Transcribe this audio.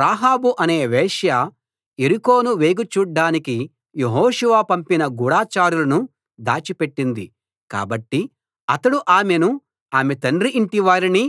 రాహాబు అనే వేశ్య యెరికోను వేగు చూడ్డానికి యెహోషువ పంపిన గూఢచారులను దాచిపెట్టింది కాబట్టి అతడు ఆమెను ఆమె తండ్రి ఇంటివారిని